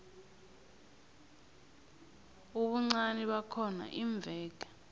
ubuncani bakhona iimveke